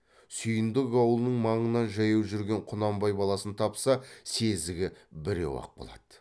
сүйіндік аулының маңынан жаяу жүрген құнанбай баласын тапса сезігі біреу ақ болады